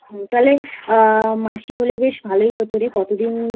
তালে মাসি হলে বেশ ভালোই হত রে কতদিন